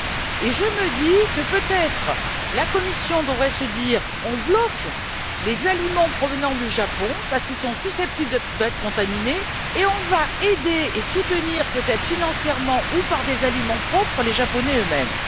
Et je me dis que, peut être, la Commission devrait se dire On bloque les aliments provenant du Japon, parce qu'ils sont susceptibles d'être contaminés, et on va aider et soutenir, peut être financièrement ou par des aliments propres, les Japonais eux mêmes.